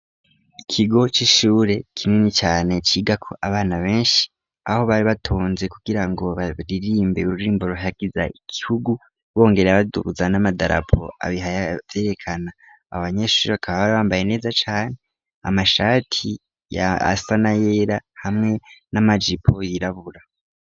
ikigo c'ishure kinini cane cigako abana benshi aho bari batonze kugira ngo baririmbe ururimbo ruhayagiza igihugu bongera badubuza n'amadarapo abihaya berekana abanyeshuri bakaba bari bambaye neza cane amashati yasa n ayera hamwe n'amajipo yirabura.